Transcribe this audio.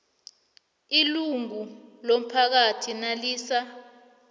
ilungu lomphakathi nalisa